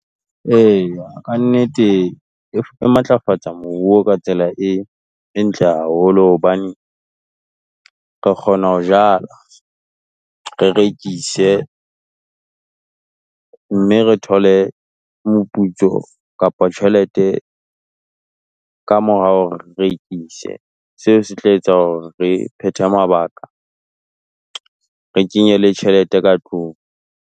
Eya, ka nnete e matlafatsa moruo ka tsela e e ntle haholo, hobane re kgona ho jala, re rekise, mme re thole moputso kapa tjhelete ka mora hore rekise. Seo se tla etsa hore re phethe mabaka, re kenye le tjhelete ka tlung.